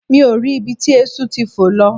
Mi ò rí ibi tí eéṣú ti fò lọ